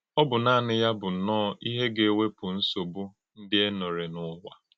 Ọ bụ́ nanị̄ ya bụ́ nnọọ̄ íhè̄ gà - èwè̄pụ̀ nsọ̀gbú̄ ndị́ e nọ̀rè n’ụ́wà.